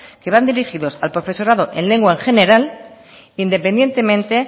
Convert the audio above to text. que van dirigidos al profesorado en lengua en general independientemente